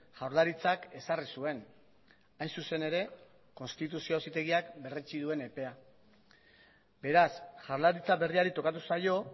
jaurlaritzak ezarri zuen hain zuzen ere konstituzio auzitegiak berretsi duen epea beraz jaurlaritza berriari tokatu zaio